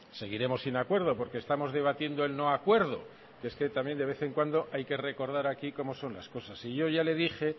seguiremos sin acuerdo porque estamos debatiendo el no acuerdo que es que también de vez en cuando hay que recordar aquí cómo son las cosas y yo ya le dije